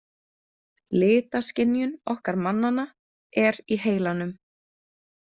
Litaskynjun okkar mannanna er í heilanum.